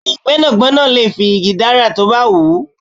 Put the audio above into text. Bẹẹni, gbẹ́nàgbẹ́nà lè fi igi dárà tó bá wù ú.